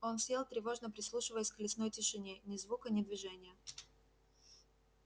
он сел тревожно прислушиваясь к лесной тишине ни звука ни движения